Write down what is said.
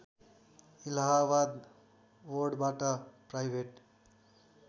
इलाहावाद बोर्डबाट प्राइभेट